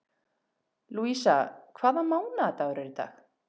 Lúísa, hvaða mánaðardagur er í dag?